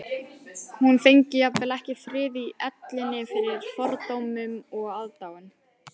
Hún fengi jafnvel ekki frið í ellinni fyrir fordómum og aðdáun